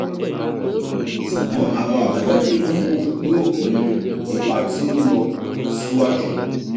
ṣugbọn awọn abajade idanwo yoo pinnu ipa ti o nlọ siwaju